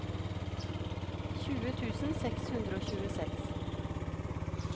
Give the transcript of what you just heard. tjue tusen seks hundre og tjueseks